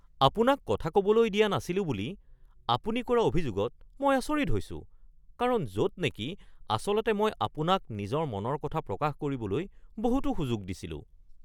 আপোনাক কথা ক’বলৈ দিয়া নাছিলো বুলি আপুনি কৰা অভিযোগত মই আচৰিত হৈছো কাৰণ য'ত নেকি আচলতে মই আপোনাক নিজৰ মনৰ কথা প্ৰকাশ কৰিবলৈ বহুতো সুযোগ দিছিলোঁ।